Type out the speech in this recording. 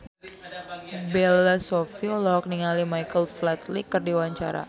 Bella Shofie olohok ningali Michael Flatley keur diwawancara